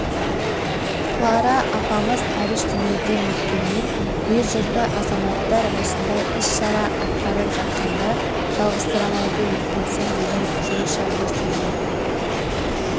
клара апамыз әбіш дүниеден өткенмен ел-жұрты азаматтар осындай іс-шара атқарып жатқанда жалғызсырамайды екенсің деген жүрекжарды сөзін